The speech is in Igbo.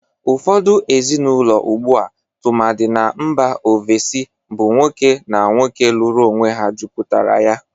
Ụfọdụ ezịnaụlọ ugbu a, tụmadị na mba ovesi, bụ nwoke na nwoke lụrụ onwe ha mejuputara ya.